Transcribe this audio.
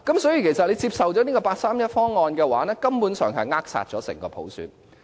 所以如果接受八三一方案的話，根本上是扼殺整個普選。